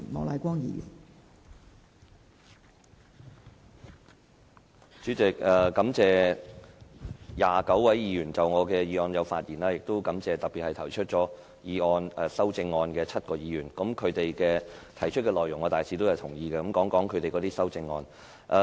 代理主席，感謝29位議員就我的議案發言，亦特別感謝提出修正案的7位議員，他們修正案的內容我大致同意，我會談談他們的修正案。